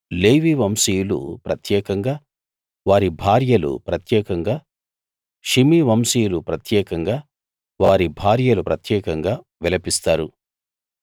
లేవి వంశీయులు ప్రత్యేకంగా వారి భార్యలు ప్రత్యేకంగా షిమీ వంశీయులు ప్రత్యేకంగా వారి భార్యలు ప్రత్యేకంగా విలపిస్తారు